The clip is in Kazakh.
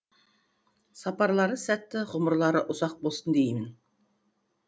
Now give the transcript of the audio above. сапарлары сәтті ғұмырлары ұзақ болсын деймін